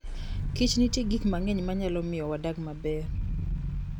Kich nitie gik mang'eny manyalo miyo wadag maber.